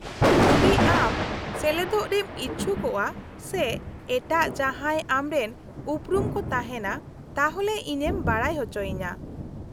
-ᱡᱩᱫᱤ ᱟᱢ ᱥᱮᱞᱮᱫᱚᱜ ᱨᱮᱢ ᱤᱪᱪᱷᱩᱠᱚᱜᱼᱟ ᱥᱮ ᱮᱴᱟᱜ ᱡᱟᱦᱟᱸᱭ ᱟᱢᱨᱮᱱ ᱩᱯᱩᱨᱩᱢ ᱠᱚ ᱛᱟᱦᱮᱸᱱᱟ, ᱛᱟᱦᱚᱞᱮ ᱤᱧᱮᱢ ᱵᱟᱰᱟᱭ ᱚᱪᱚᱭᱤᱧᱟ ᱾